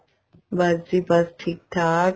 ਬੱਸ ਜੀ ਬੱਸ ਠੀਕ ਠਾਕ